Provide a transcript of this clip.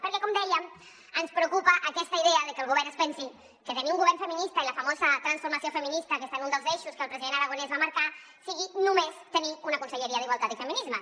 perquè com dèiem ens preocupa aquesta idea de que el govern es pensi que tenir un govern feminista i la famosa transformació feminista que està en un dels eixos que el president aragonès va marcar sigui només tenir una conselleria d’igualtat i feminismes